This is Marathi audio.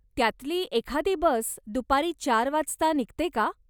त्यातली एखादी बस दुपारी चार वाजता निघते का?